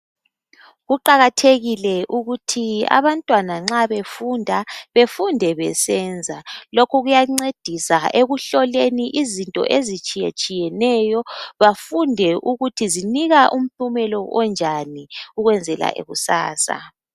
Kuqakathekile ukuthi abantwana nxa befunda befunde besenza lokhu kuyancedisa ekuhloleni izinto ezitshiye tshiyeneyo bafunde ukuthi zinika impumelo enjani ukwenzela kusasa.